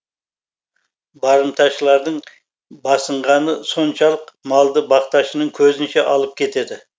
барымташылардың басынғаны соншалық малды бақташының көзінше алып кетеді